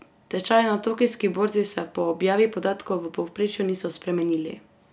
Tečaji na tokijski borzi se po objavi podatkov v povprečju niso spremenili.